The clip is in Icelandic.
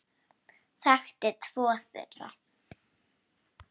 Hann þekkti tvo þeirra.